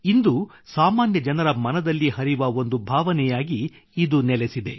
ಇಂದು ಸಾಮಾನ್ಯ ಜನರ ಮನದಲ್ಲಿ ಹರಿವ ಒಂದು ಭಾವನೆಯಾಗಿ ಇದು ನೆಲೆಸಿದೆ